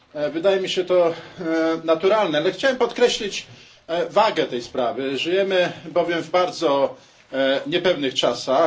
Wydaje mi się to naturalne, ale chciałem podkreślić wagę tej sprawy żyjemy bowiem w bardzo niepewnych czasach.